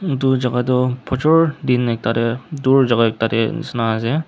etu jaga toh phujor din ekta te dur jaga te ekta nishena ase.